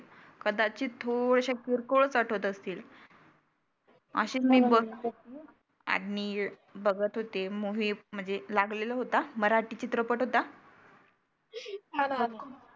कदाचीत थोड्याश्या किरकोळचं आठवत असतील. आशी आणि बघत होते मग हे म्हणजे लागलेला होता मराठी चित्रपट होता मला